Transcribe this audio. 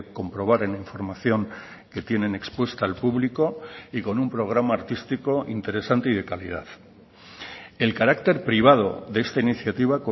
comprobar en la información que tienen expuesta al público y con un programa artístico interesante y de calidad el carácter privado de esta iniciativa